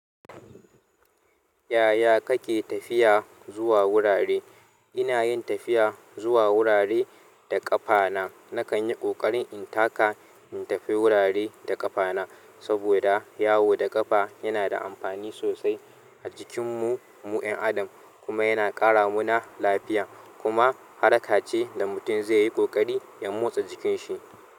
Yaya kake tafiya zuwa wurare? Ina yin tafiya zuwa wurare da ƙafa na. Nakan yi ƙoƙarin in taka in tafi wurare da ƙafa na, saboda yawo da ƙafa yana da amfani sosai a jikinmu mu'yan adam, kuma yana ƙara mu na lafiya, kuma harka ce da mutum zai yi ƙoƙari ya motsa jikin shi.